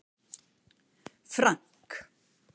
Frank